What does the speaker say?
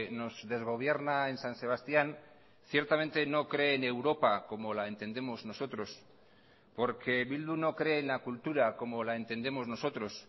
nos desgobierna en san sebastián ciertamente no cree en europa como la entendemos nosotros porque bildu no cree en la cultura como la entendemos nosotros